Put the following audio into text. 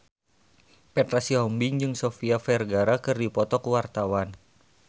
Petra Sihombing jeung Sofia Vergara keur dipoto ku wartawan